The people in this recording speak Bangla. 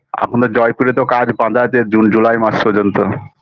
এখনো জয়পুরে তো কাজ বাধা আছে june july মাস পর্যন্ত